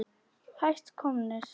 Hætt komnir.